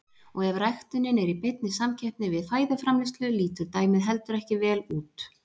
Og ef ræktunin er í beinni samkeppni við fæðuframleiðslu lítur dæmið heldur ekki vel út.